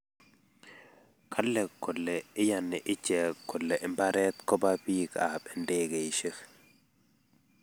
kale kole iani ichek kole mbaret kobo bik ab ndegeishek